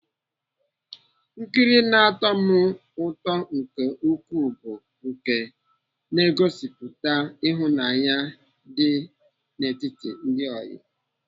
Nkiri na-atọ m ụtọ nke ukwuu bụ nke ngosịpụta ịhụnanya dị n'etiti ndị ọyị.